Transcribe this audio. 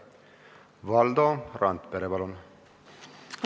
Valdo Randpere, palun!